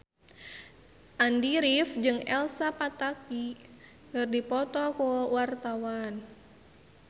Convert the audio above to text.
Andy rif jeung Elsa Pataky keur dipoto ku wartawan